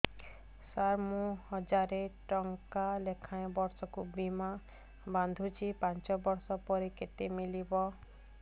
ସାର ମୁଁ ହଜାରେ ଟଂକା ଲେଖାଏଁ ବର୍ଷକୁ ବୀମା ବାଂଧୁଛି ପାଞ୍ଚ ବର୍ଷ ପରେ କେତେ ମିଳିବ